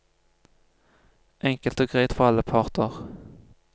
Enkelt og greit for alle parter.